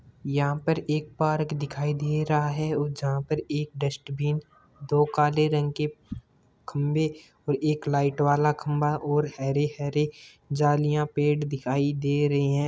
यहा पर एक पार्क दिखाई दे रहा है और जहाँ पर एक डस्टबिन दो काले रंग के खम्भे और एक लाइटवाला खम्भा और हरे हरे जालियां पेड़ दिखाई दे रहे है।